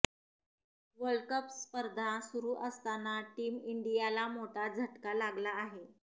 world cup स्पर्धा सुरु असताना टीम इंडियाला मोठा झटका लागला आहे